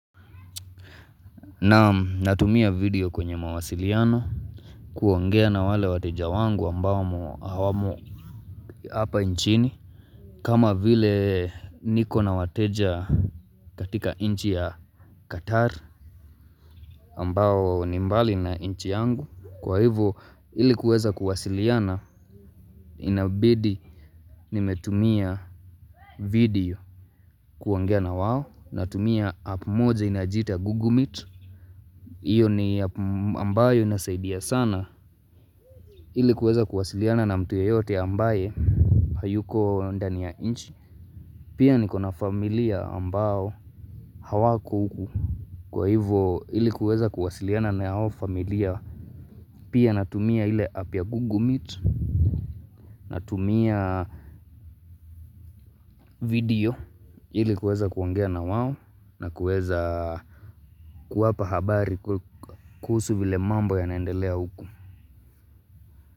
Naam natumia video kwenye mawasiliano kuongea na wale wateja wangu ambao hawamo hapa nchini. Kama vile niko na wateja katika nchi ya Qatar ambao ni mbali na nchi yangu. Kwa hivyo ili kuweza kuwasiliana inabidi nimetumia video kuongea na wao. Natumia app moja inajiita Google Meet. Iyo ni ambayo inasaidia sana. Ili kuweza kuwasiliana na mtu yeyote ambaye hayuko ndani ya nchi. Pia niko na familia ambao hawako huku. Kwa hivyo ilikuweza kuwasiliana na hao familia. Pia natumia ile app ya google meet. Natumia video ilikuweza kuongea na wao na kuweza kuwapa habari kuhusu vile mambo yanaendelea huku.